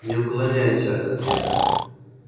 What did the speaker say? не уклоняйся от ответа